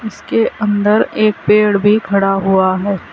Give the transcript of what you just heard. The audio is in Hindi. उसके अंदर के पेड़ भी खड़ा हुआ है।